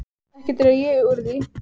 Ekki dreg ég úr því.